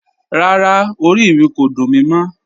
Rárá, orí mi kò dún mí mọ̀